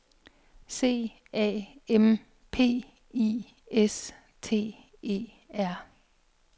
C A M P I S T E R